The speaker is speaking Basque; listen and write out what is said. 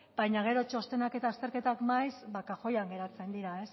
baina gero txostenak eta azterketak maiz kajoian geratzen dira